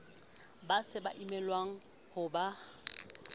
ba sa emelwang ho ba